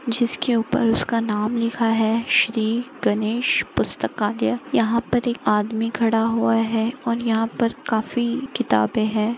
जिसके ऊपर उसका नाम लिखा है श्री गणेश पुस्तकालय यहाँ पर एक आदमी खड़ा हुआ है और यहाँ पर काफी किताबे है।